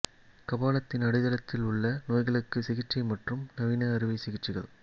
கபாலத்தின் அடித்தளத்தில் உள்ள நோய்களுக்கு சிகிச்சை மற்றும் நவீன அறுவை சிகிச்சைகள்